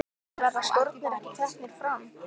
En verða skórnir ekki teknir fram?